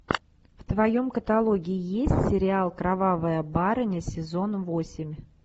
в твоем каталоге есть сериал кровавая барыня сезон восемь